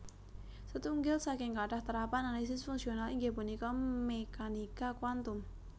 Setunggil saking kathah terapan analisis fungsional inggih punika mékanika kuantum